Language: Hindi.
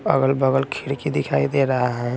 अगल बगल खिरकी दिखाई दे रहा है।